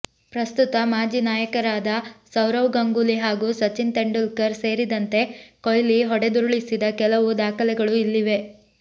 ಪ್ರಸ್ತುತ ಮಾಜಿ ನಾಯಕರಾದ ಸೌರವ್ ಗಂಗೂಲಿ ಹಾಗೂ ಸಚಿನ್ ತೆಂಡೂಲ್ಕರ್ ಸೇರಿದಂತೆ ಕೊಹ್ಲಿ ಹೊಡೆದುರುಳಿಸಿದ ಕೆಲವು ದಾಖಲೆಗಳು ಇಲ್ಲಿವೆ